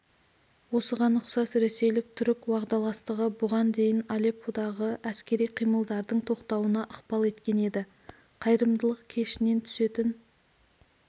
осыған ұқсас ресейлік-түрік уағдаластығы бұған дейін алепподағы әскери қимылдардың тоқтауына ықпал еткен еді қайырымдылық кешінен түсетін